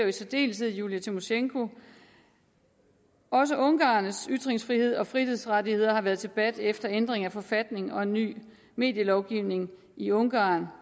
i særdeleshed julija tymosjenko også ungarernes ytringsfrihed og frihedsrettigheder har været til debat efter ændring af forfatningen og en ny medielovgivning i ungarn